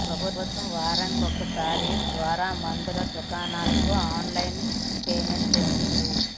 ప్రభుత్వం వారానికి ఒకసారి ద్వారా మందుల దుకాణాలకు ఆన్లైన్ పేమెంట్ చేస్తుంది